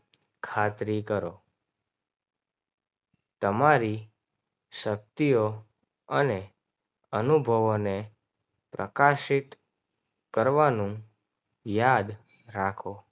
ખાતરી કરો. તમારી શક્તિઓ અને અનુભવને પ્રકાશિત કરવાનો યાદ રાખો.